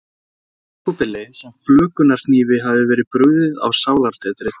Jakobi leið sem flökunarhnífi hefði verið brugðið á sálartetrið.